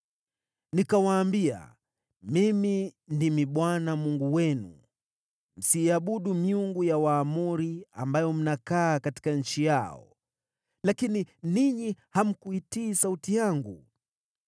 Nikawaambia, ‘Mimi ndimi Bwana Mungu wenu; msiiabudu miungu ya Waamori, ambayo mnakaa katika nchi yao!’ Lakini ninyi hamkuitii sauti yangu.”